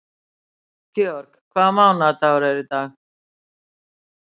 George, hvaða mánaðardagur er í dag?